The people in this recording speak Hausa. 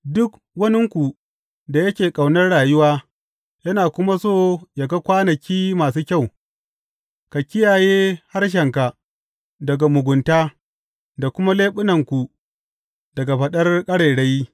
Duk waninku da yake ƙaunar rayuwa yana kuma so yă ga kwanaki masu kyau, ka kiyaye harshenka daga mugunta da kuma leɓunanku daga faɗar ƙarairayi.